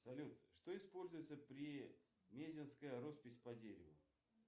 салют что используется при мезенская роспись по дереву